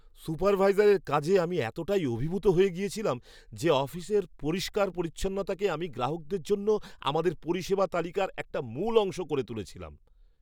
সুপারভাইজারের কাজে আমি এতটাই অভিভূত হয়ে গিয়েছিলাম যে, অফিসের পরিষ্কার পরিচ্ছন্নতাকে আমি গ্রাহকদের জন্য আমাদের পরিষেবা তালিকার একটা মূল অংশ করে তুলেছিলাম!